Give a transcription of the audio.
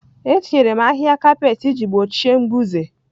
Etinyere m ahịhịa kapet iji gbochie mbuze